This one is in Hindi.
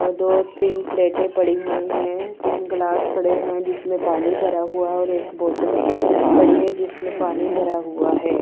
और दो तीन प्लेटे पड़ी हुईं हैं तीन ग्लास पड़े हुए हैं जिसमें पानी भरा हुआ हैं और एक बोतल पड़ी हैं जिसमें पानी भरा हुआ हैं।